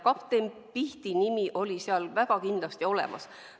Kapten Pihti nimi oli seal kindlasti olemas.